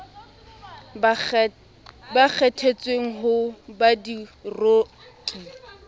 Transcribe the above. ba kgethetsweng ho ba diroki